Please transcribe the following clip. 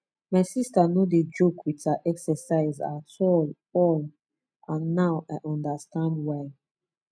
my sister no dey joke with her exercise at all all and now i understand why